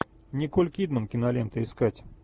николь кидман кинолента искать